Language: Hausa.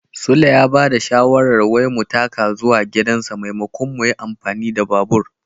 Sule ya ba da shawarar wai mu taka zuwa gidansa maimakon mu yin amfani da babur.